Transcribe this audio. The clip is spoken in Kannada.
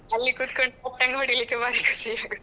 ಅಲ್ಲಿ ಕುತ್ಕೊಂಡು ಪಟ್ಟಂಗ ಹೊಡಿಲಿಕ್ಕೆ ಭಾರಿ ಖುಷಿ ಆಗುವುದು.